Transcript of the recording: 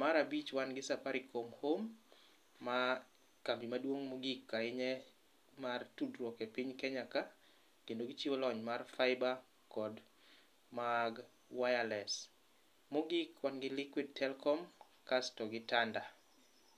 Mar abich wan gi Safaricom home, ma kambi maduong' moghik ahinya mar tudruok e piny Kenya ka, kendo gichiwo lony mar Fáiba kod mag wireless. Mogik wan gi Liquid telkom kasto gi Tanda.